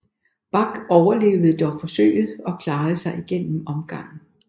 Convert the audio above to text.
Bak overlevede dog forsøget og klarede sig igennem omgangen